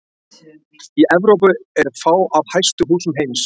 Í Evrópu eru fá af hæstu húsum heims.